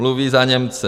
- Mluví za Němce.